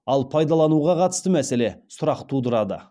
ал пайдалануға қатысты мәселе сұрақ тудырады